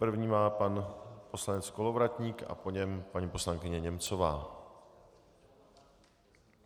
První má pan poslanec Kolovratník a po něm paní poslankyně Němcová.